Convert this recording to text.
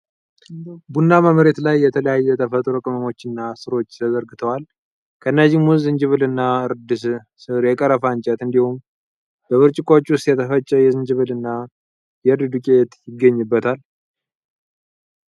ቡናማ መሬት ላይ የተለያዩ የተፈጥሮ ቅመሞችና ሥሮች ተዘርግተዋል። ከእነዚህም ውስጥ ዝንጅብልና እርድ ሥር፣ የ ቀረፋ እንጨት፣ እንዲሁም በብርጭቆዎች ውስጥ የተፈጨ የዝንጅብል እና የእርድ ዱቄት ይገኙበታል።